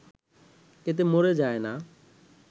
এতে মরে যায় না